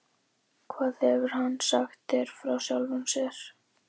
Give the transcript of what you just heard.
Hvað hefur hann sagt þér frá sjálfum sér?